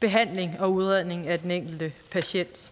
behandling og udredning af den enkelte patient